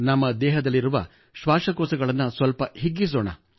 ನಮ್ಮ ದೇಹದಲ್ಲಿರುವ ಶ್ವಾಸಕೋಶಗಳನ್ನು ಸ್ವಲ್ಪ ಹಿಗ್ಗಿಸೋಣ